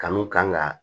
Kanu kan ga